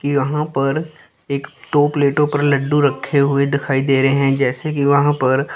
कि यहां पर एक दो प्लेटो पर लड्डू रखे हुए दिखाई दे रहे हैं जैसे कि वहां पर--